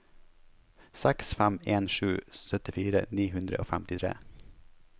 seks fem en sju syttifire ni hundre og femtitre